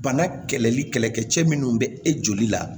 Bana kɛlɛli kɛlɛkɛcɛ minnu bɛ e joli la